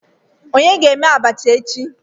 Onye ga eme abacha echi?